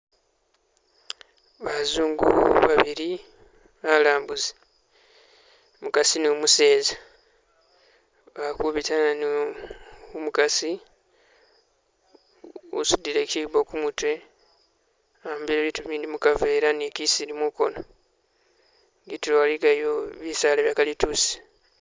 bazungu babiri balambuzi, mukasi numuzesa bakubita ano, umukasi wosudile kyibo kumutwe a'mbile bitu bindi mukavera ni kisili mukono, itulo iligayo bisaala bya kalituusi